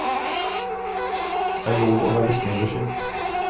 Det er lov å være sneversynt.